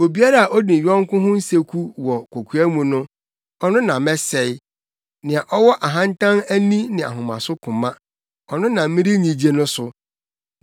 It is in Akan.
Obiara a odi ne yɔnko ho nseku wɔ kokoa mu no, ɔno na mɛsɛe; nea ɔwɔ ahantan ani ne ahomaso koma, ɔno na merennyigye no so.